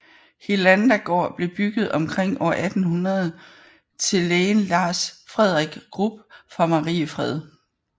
Hedlanda gård blev bygget omkring år 1800 til lægen Lars Fredrik Grubb fra Mariefred